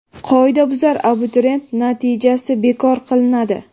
qoidabuzar abituriyent natijasi bekor qilinadi.